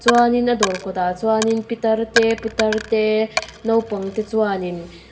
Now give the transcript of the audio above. chuan in a dawr kawtah chuan pitar te putar te naupang te chuanin--